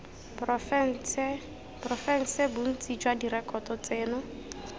porofense bontsi jwa direkoto tseno